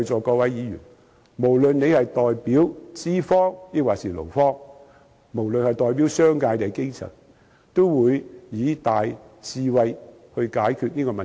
各位議員，無論你們是代表資方還是勞方，是代表商界還是基層，我懇請你們以大智慧來解決這個問題。